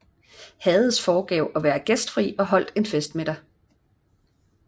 Hades foregav at være gæstfri og holdt en festmiddag